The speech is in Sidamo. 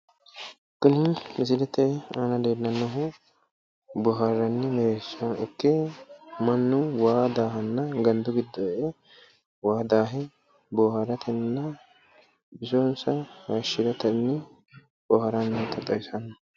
Kuni misilete aana leellannohu boohaarranni darga ikke mannu waa daahanna gandu giddo e'e waa daaha booharatenninna bisonsa haayishshiranni boohaarrannota xawissanno.